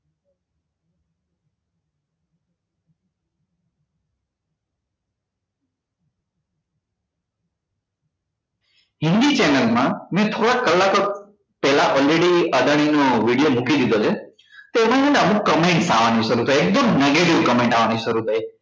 Hindi channel માં મેં થોડાક કલાકો પહેલા already અદાણી નો video મૂકી દીધો છે તો એમાં મને અમુક comment આવવા ની શરુ થઇ એકદમ negative comment આવવા ની શરુ થઇ